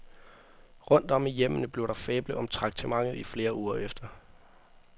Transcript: Rundt om i hjemmene blev der fablet om traktementet i flere uger efter.